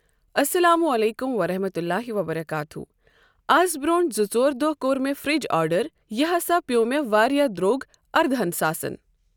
السلام عليكم ورحمة الله وبركاته آز برٛونٛٹھ زٕ ژور دۄہ کوٚر مےٚ فرج آڈر یہِ ہسا پیوٚو مےٚ واریاہ درٚوگ اردہن ساسن۔